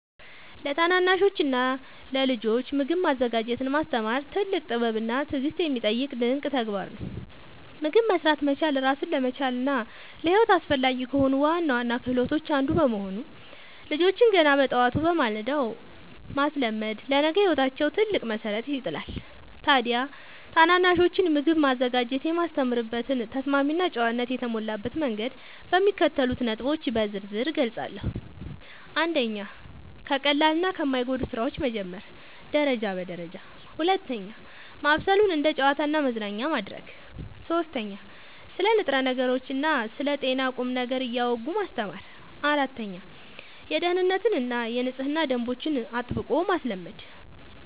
ለታናናሾችና ለልጆች ምግብ ማዘጋጀትን ማስተማር ትልቅ ጥበብና ትዕግሥት የሚጠይቅ ድንቅ ተግባር ነው። ምግብ መሥራት መቻል ራስን ለመቻልና ለሕይወት አስፈላጊ ከሆኑ ዋና ዋና ክህሎቶች አንዱ በመሆኑ፣ ልጆችን ገና በጠዋቱ (በማለዳው) ማስለመድ ለነገ ሕይወታቸው ትልቅ መሠረት ይጥላል። ታዲያ ታናናሾችን ምግብ ማዘጋጀት የማስተምርበትን ተስማሚና ጨዋነት የተሞላበት መንገድ በሚከተሉት ነጥቦች በዝርዝር እገልጻለሁ፦ 1. ከቀላልና ከማይጎዱ ሥራዎች መጀመር (ደረጃ በደረጃ) 2. ማብሰሉን እንደ ጨዋታና መዝናኛ ማድረግ 3. ስለ ንጥረ ነገሮችና ስለ ጤና ቁም ነገር እያወጉ ማስተማር 4. የደኅንነትና የንጽህና ደንቦችን አጥብቆ ማስለመድ